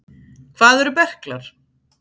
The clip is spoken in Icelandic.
Hvað eru berklar?